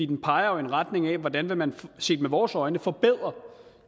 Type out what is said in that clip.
den peger jo i retning af hvordan man set med vores øjne vil forbedre